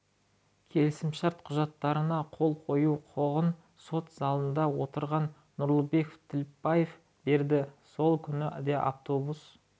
келісімшарт құжаттарына қол қою құқығын сот залында отырған нұрлыбек тілепбаев берді сол күні де автобус